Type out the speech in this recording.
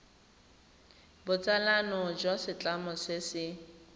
botsalano jwa setlamo se se